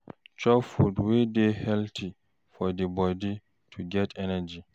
Chop food wey dey healthy for di body to get energy